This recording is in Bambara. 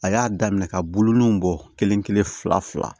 A y'a daminɛ ka bolonunw bɔ kelen kelen fila fila